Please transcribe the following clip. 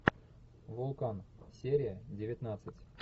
вулкан серия девятнадцать